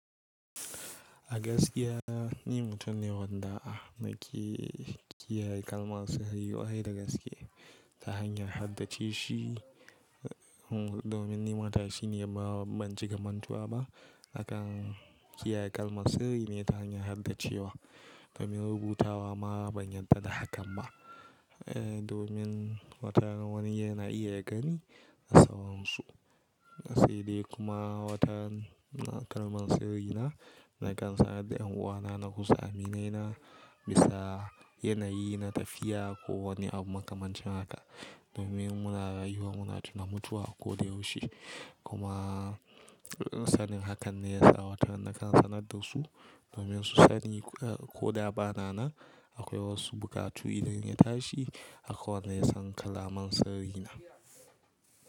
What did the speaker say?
A gaskiya ni mutum ne wadda a na kiyaye kalmar sirri kwarai da gaske. Ta hanyar haddace shi domin ni matashi ne ma ba ban cika mantuwa ba. Akan kiyaye kalmar sirri ne ta hanyar haddace wa domin rubutawa ma ban yadda da hakan ba. Domin wata rana wani yana iya ya gani da sauran su. Sai dai kuma watan kalmar sirri na, na kan sanar da yan uwana na kusa, aminaina bisa yanayi na tafiya ko wani abu makamancin haka. Domin muna rayuwa muna tuna mutuwa a ko da yaushe. Kuma sanin hakan ne ya sa wataran na kan sanar da su domin su sani ko da ba na nan akwai wasu bukatu idan ya tashi akwai wanda ya san kalaman sirri na.